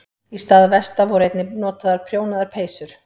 Í stað vesta voru einnig notaðar prjónaðar peysur.